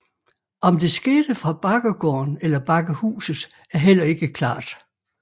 Om det skete fra Bakkegården eller Bakkehuset er heller ikke klart